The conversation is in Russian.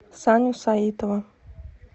саню саитова